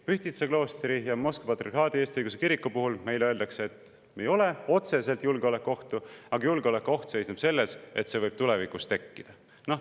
Pühtitsa kloostri ja Moskva Patriarhaadi Eesti Õigeusu Kiriku puhul meile öeldakse, et otseselt julgeolekuohtu ei ole, aga julgeolekuoht seisneb selles, et see võib tulevikus tekkida.